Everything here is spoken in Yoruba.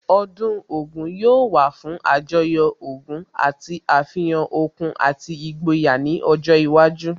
Ọdún Ògún yóò wà fún Àjọyọ̀ ogún àti àfihàn okun àti ìgboyà ní ọjọ́ iwájú